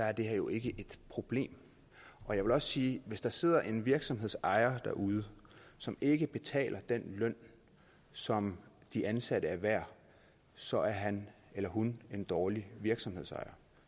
er det her jo ikke et problem jeg vil også sige at hvis der sidder en virksomhedsejer derude som ikke betaler den løn som de ansatte er værd så er han eller hun en dårlig virksomhedsejer